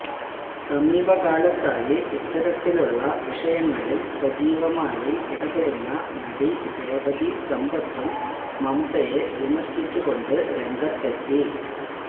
സമീപകാലത്തായി ഇത്തരത്തിലുള്ള വിഷയങ്ങളില് സജീവമായി ഇടപെടുന്ന നടി രേവതി സമ്പത്തും മംമ്തയെ വിമര്ശിച്ചു കൊണ്ട് രംഗത്തെത്തി